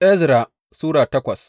Ezra Sura takwas